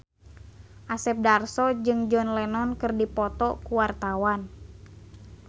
Asep Darso jeung John Lennon keur dipoto ku wartawan